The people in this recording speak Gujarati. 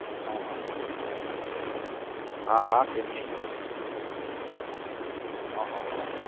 હા હા હા હા કેમ નહીં? હા હા હા